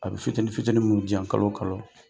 A bɛ fitini fitini minnu di yan kalo kalo.